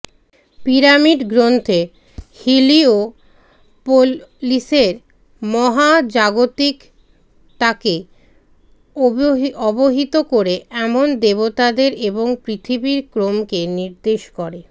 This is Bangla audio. পিরামিড গ্রন্থে হিলিওপোলিসের মহাজাগতিকতাকে অবহিত করে এমন দেবতাদের এবং পৃথিবীর ক্রমকে নির্দেশ করে